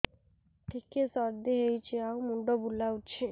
ଟିକିଏ ସର୍ଦ୍ଦି ହେଇଚି ଆଉ ମୁଣ୍ଡ ବୁଲାଉଛି